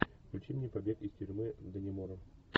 включи мне побег из тюрьмы даннемора